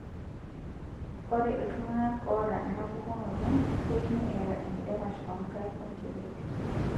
Ore iltung'anak oata enapukunoto keini eata enkidapash oonkaik onkejek.